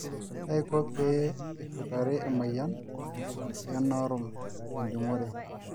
kaiko pee eshutari emoyian ee norum te enjungore